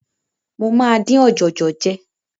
Mo máa dín ọ̀jọ̀jọ̀ jẹ.